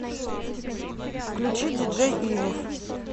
включи диджей ивов